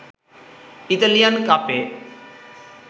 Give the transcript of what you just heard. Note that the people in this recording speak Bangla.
ইতালিয়ান কাপে